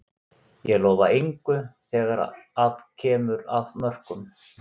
Ég lofa engu þegar að kemur að mörkum.